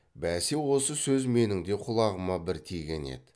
бәсе осы сөз менің де құлағыма бір тиген еді